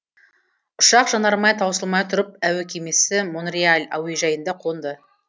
ұшақ жанармай таусылмай тұрып әуекемесі монреаль әуежайына қонды